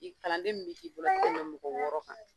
Bi kalanden min bi k'i bolo tɛmɛ mɔgɔ wɔɔrɔ kan.